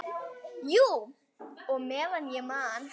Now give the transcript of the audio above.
Jú, og meðan ég man.